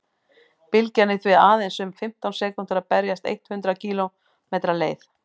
bylgjan er því aðeins um fimmtán sekúndur að berast eitt hundruð kílómetri leið